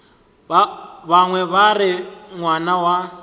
bangwe ba re ngwana wa